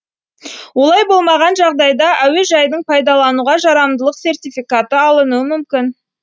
олай болмаған жағдайда әуежайдың пайдалануға жарамдылық сертификаты алынуы мүмкін